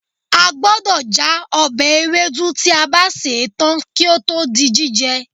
A gbọdọ̀ já ọbẹ̀ ewédú tí a bá sè é tán kí ó tó di jíjẹ